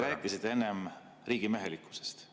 Te rääkisite enne riigimehelikkusest.